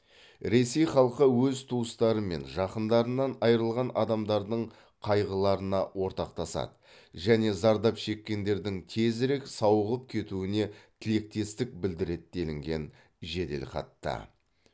ресей халқы өз туыстары мен жақындарынан айрылған адамдардың қайғыларына ортақтасады және зардап шеккендердің тезірек сауығып кетуіне тілектестік білдіреді делінген жеделхатта